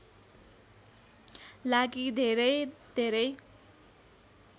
लागि धेरै धेरै